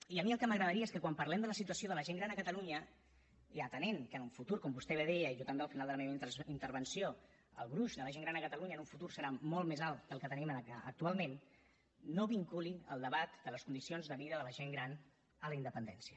i a mi el que m’agradaria és que quan parlem de la situació de la gent gran a catalunya i atenent que en un futur com vostè bé deia i jo també al final de la meva intervenció el gruix de la gent gran a catalunya en un futur serà molt més alt que el que tenim actualment no vinculin el debat de les condicions de vida de la gent gran a la independència